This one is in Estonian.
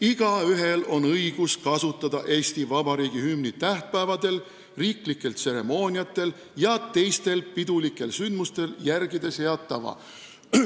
"Igaühel on õigus kasutada Eesti Vabariigi hümni tähtpäevadel, riiklikel tseremooniatel ja teistel pidulikel sündmustel, järgides head tava.